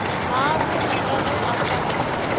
maarogi ka ge a sa